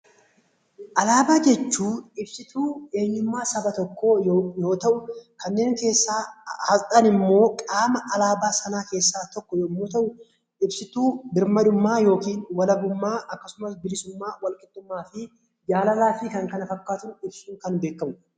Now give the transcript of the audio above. Alaabaa jechuun ibsutuu eenyummaa saba tokkoo yoi ta'u; kanneen keessaa Asxaan immoo qaama alaabaa sanaa keessaa tokko yommuu ta'u, ibsituu birmadummaa yookiin walabummaa akkasumas bilisummaa, wal qixxummaa fi jaalalaa fi kan kana fakkaatan ibsuun kan beekamu dha.